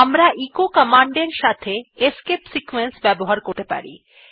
আমরা এচো কমান্ডের সঙ্গে এসকেপ সিকোয়েন্স ব্যবহার করতে পারি